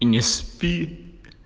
не спи